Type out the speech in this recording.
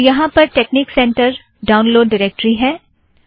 तो यहाँ पर टेकनिक सेंटर ड़ाउनलोड़ ड़ाइरेक्टरी है